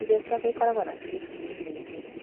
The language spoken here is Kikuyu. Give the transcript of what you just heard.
irio ciake ikoragwo na biribiri nyingĩ